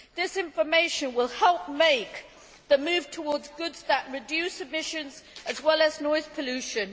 This information will help make the move towards goods that reduce emissions as well as noise pollution.